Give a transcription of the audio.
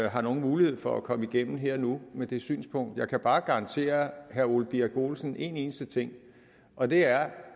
har nogen mulighed for at komme igennem her og nu med det synspunkt jeg kan bare garantere herre ole birk olesen en eneste ting og det er